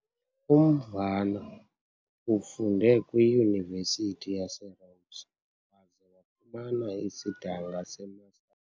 UMvana ufunde kwiYunivesithi yaseRhodes waze wafumana isidanga seMaster.